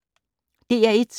DR1